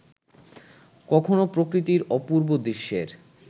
কখনো প্রকৃতির অপূর্ব দৃশ্যের